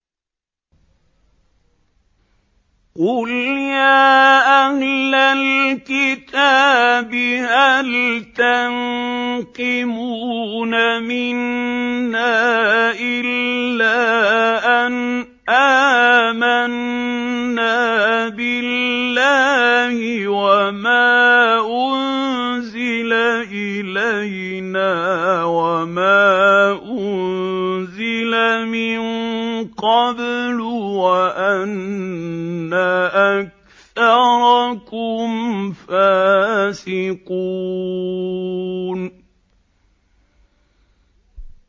قُلْ يَا أَهْلَ الْكِتَابِ هَلْ تَنقِمُونَ مِنَّا إِلَّا أَنْ آمَنَّا بِاللَّهِ وَمَا أُنزِلَ إِلَيْنَا وَمَا أُنزِلَ مِن قَبْلُ وَأَنَّ أَكْثَرَكُمْ فَاسِقُونَ